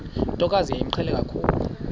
ntokazi yayimqhele kakhulu